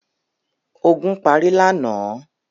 Ogun parí lánàá?